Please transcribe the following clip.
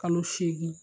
Kalo seegin